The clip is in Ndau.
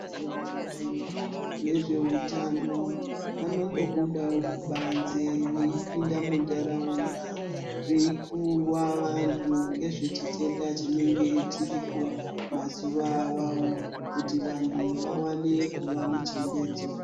Vantu vezveutano, vanombobudawo kubanze veipinda muntaraunda veikuwa vantu ngezvechitenda chinenge chiriko mazuva awawo kuti vantu vawane kuva nechenjedzo.